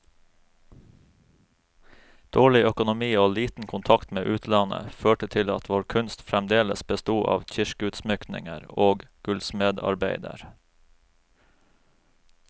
Dårlig økonomi og liten kontakt med utlandet, førte til at vår kunst fremdeles besto av kirkeutsmykninger og gullsmedarbeider.